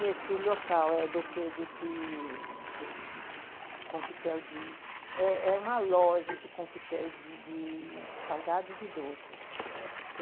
Nesse local, é, desse desse desse Coquetel de... É é uma loja de Coquetéis de salgados e doces. Uhum.